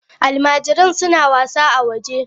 Almajiran suna wasa a waje.